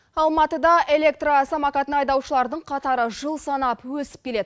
алматыда электро самокатын айдаушылардың қатары жыл санап өсіп келеді